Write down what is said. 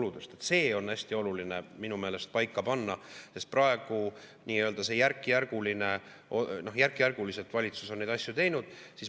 See on minu meelest hästi oluline paika panna, sest praegu valitsus on neid asju teinud järkjärguliselt.